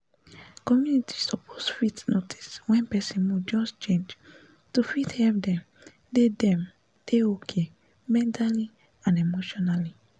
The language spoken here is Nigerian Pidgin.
community suppose fit notice wen person mood just change to fit help dem dey dem dey okay mentally and emotionally